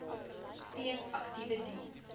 steeds aktiewe diens